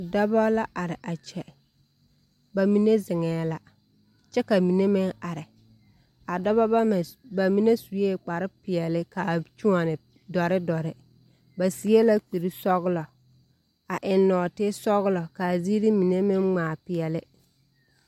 Dɔbɔ la are a kyɛ, ba mine zeŋɛɛ la ka ba mine meŋ are. A dɔba bama, ba mine sue kpare peɛle ka a kyoɔne dɔre dɔre. Ba seɛ la kuri sɔgelɔ a eŋ nɔɔte sɔgelɔ ka ziiri mine meŋ ŋmaa peɛle.